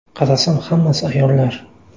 Qarasam hammasi ayollar.